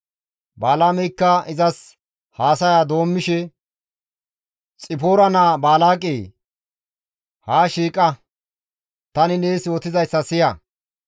Balaameykka izas haasaya doommishe, «Xipoora naa Baalaaqe! Haa shiiqa! Tani nees yootizayssa siya.